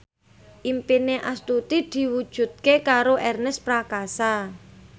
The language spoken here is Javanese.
impine Astuti diwujudke karo Ernest Prakasa